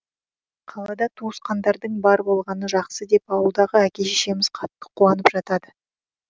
қалада туысқандардың бар болғаны жақсы деп ауылдағы әке шешеміз қатты куанып жатады